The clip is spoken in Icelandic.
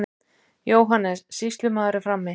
JÓHANNES: Sýslumaður er frammi.